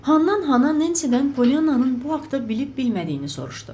Handan Nensidən Pollyanannın bu haqda bilib-bilmədiyini soruşdu.